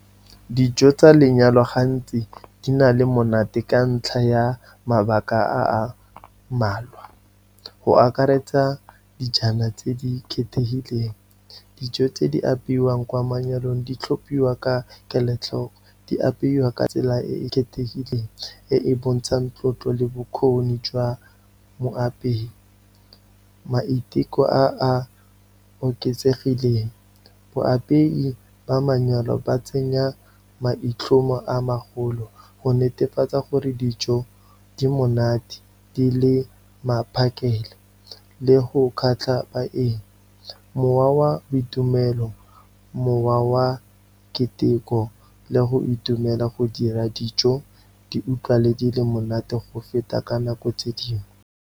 Dijo tsa lenyalo gantsi di na le monate ka ntlha ya mabaka a a mmalwa, go akaretsa dijana tse di khethehileng. Dijo tse di apeiwang kwa manyalong, di tlhophiwa ka kelotlhoko, di apeiwa ka tsela e e khethehileng e e bontshang tlotlo le bokgoni jwa moapeiyi, maiteko a a oketsegileng. Baapei ba manyalo, ba tsenya maitlhomo a magolo, go netefatsa gore dijo di monate di le maphakela le go kgatlha baeng. Mowa wa boitumelo, mowa wa keteko le go itumela go dira dijo, di utlwala di le monate go feta ka nako tse dingwe.